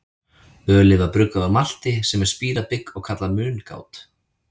Ölið var bruggað úr malti, sem er spírað bygg, og kallað mungát.